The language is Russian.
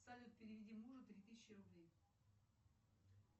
салют переведи мужу три тысячи рублей